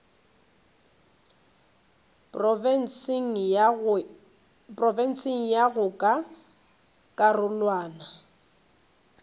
profense go ya ka karolwana